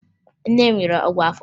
Nne m nyere m ọgwụ afọ